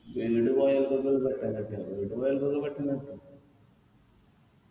വീട് പോയൊർക്കൊക്കെ ഇത് പെട്ടെന്ന് കിട്ടും വീട് പോയോർക്കൊക്കെ പെട്ടെന്ന് കിട്ടും